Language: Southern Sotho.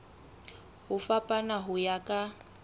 ho fapana ho ya ka